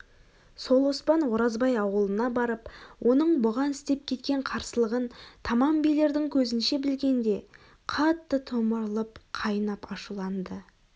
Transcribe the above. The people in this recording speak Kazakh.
сол оспан оразбай аулына барып оның бұған істеп кеткен қарсылығын тамам билердің көзінше білгенде қатты томырылып қайнап ашуланды